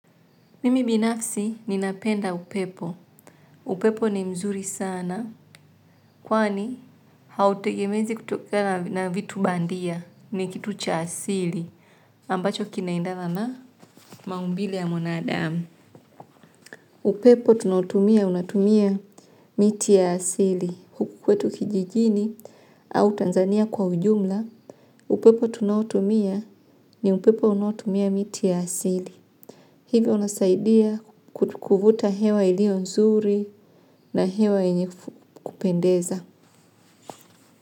Mimi binafsi ninapenda upepo. Upepo ni mzuri sana. Kwani hautegemezi kutokana na vitu bandia ni kitu cha asili. Ambacho kinaendana na maumbile ya mwanadamu. Upepo tunaotumia, unautumia miti ya asili. Kwetu kijijini au Tanzania kwa ujumla. Upepo tunaotumia ni upepo unaotumia miti ya asili. Hivi unasaidia kuvuta hewa iliyo nzuri na hewa yenye kupendeza.